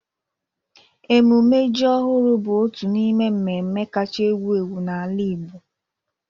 Emume ji ọhụrụ bụ otu n'ime mmemme kacha ewu ewu n'ala Igbo.